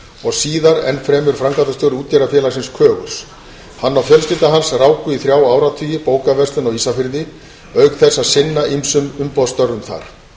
og síðar enn fremur framkvæmdastjóri útgerðarfélagsins kögurs hann og fjölskylda hans ráku í þrjá áratugi bókaverslun á ísafirði auk þess að sinna ýmsum umboðsstörfum þar